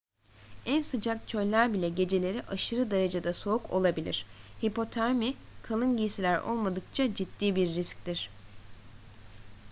en sıcak çöller bile geceleri aşırı derecede soğuk olabilir hipotermi kalın giysiler olmadıkça ciddi bir risktir